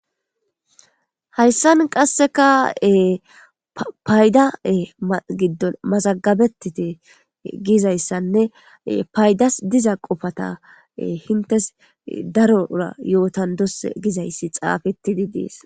hayssan qasseka payda giddon mazagabettite gizayssanne paydas diza qofata hintes darora yootan dos gizayssi xaafetidi dees